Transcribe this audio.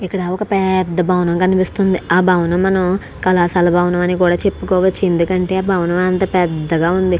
ఇక్కడ ఒక పెద్ద భవనం కనిపిస్తుంది ఆ భవనం కళాశాల భవనం అని కూడా చేపచు ఎందుకంటే ఆ భవనం పెద్దగా ఉంది.